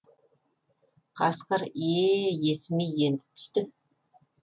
қасқыр е е е есіме енді түсті